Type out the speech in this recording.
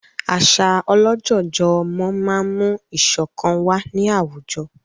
Àṣà ọlọ́jọ̀jọ̀ ọmọ máa ń mú ìṣọ̀kan wà ní àwùjọ